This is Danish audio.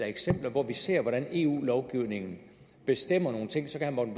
eksempler hvor vi ser hvordan eu lovgivningen bestemmer nogle ting så kan